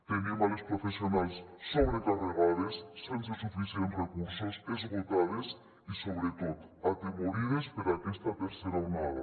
tenim les professionals sobrecarregades sense suficients recursos esgotades i sobretot atemorides per aquesta tercera onada